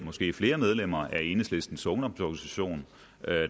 måske flere medlemmer af enhedslistens ungdomsorganisation